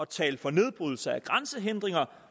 talt for nedbrydelse af grænsehindringer